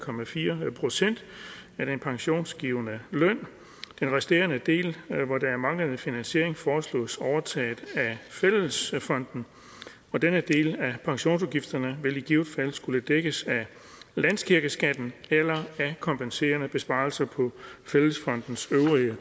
procent af den pensionsgivende løn den resterende del hvor der er manglende finansiering foreslås overtaget af fællesfonden og denne del af pensionsudgifterne vil i givet fald skulle dækkes af landskirkeskatten eller af kompenserende besparelser på fællesfondens øvrige